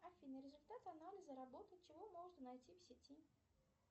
афина результат анализа работы чего можно найти в сети